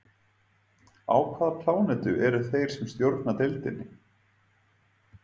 Á hvaða plánetu eru þeir sem stjórna deildinni?